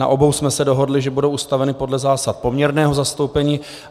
Na obou jsme se dohodli, že budou ustaveny podle zásad poměrného zastoupení.